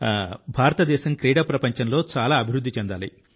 భారతదేశం క్రీడా ప్రపంచంలో చాలా అభివృద్ధి చెందాలి